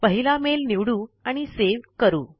पहिला मेल निवडू आणि सेव करू